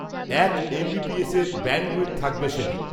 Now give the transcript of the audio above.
এক, M B P এসের, bandwidth, থাকবে সে দিন